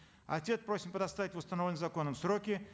ответ просим предоставить в установленные законом сроки